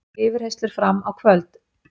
Yfirheyrslur fram á kvöld